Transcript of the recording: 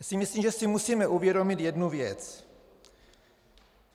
Myslím si, že si musíme uvědomit jednu věc.